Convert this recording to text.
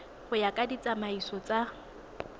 go ya ka ditsamaiso tsa